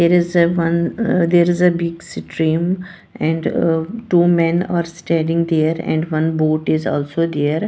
There is a one ah there is a big stream and uh two men are standing there and one boat is also there.